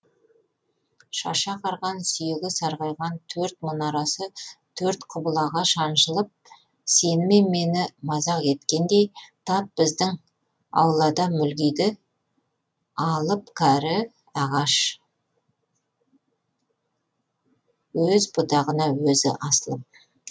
шашы ағарған сүйегі сарғайған төрт мұнарасы төрт құбылаға шаншылып сені мен мені мазақ еткендей тап біздің аулада мүлгиді алып кәрі ағаш өз бұтағына өзі асылып